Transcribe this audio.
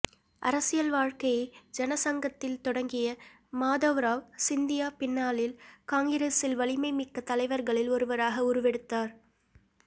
அரசியல் வாழ்க்கையை ஜனசங்கத்தில் தொடங்கிய மாதவ்ராவ் சிந்தியா பின்னாளில் காங்கிரஸில் வலிமை மிக்க தலைவர்களில் ஒருவராக உருவெடுத்தார்